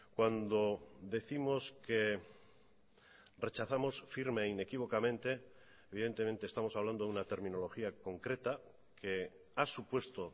cuando décimos que rechazamos firme e inequívocamente evidentemente estamos hablando de una terminología concreta que ha supuesto